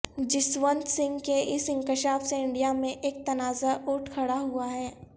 جسونت سنگھ کے اس انکشاف سے انڈیا میں ایک تنازعہ اٹھ کھڑا ہوا ہے